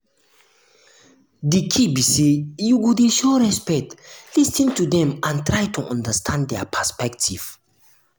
di key be say you go dey show respect lis ten to dem and try to understand dia perspective.